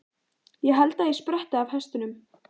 Ég held ég spretti af hestunum.